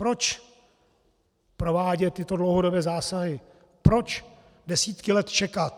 Proč provádět tyto dlouhodobé zásahy, proč desítky let čekat?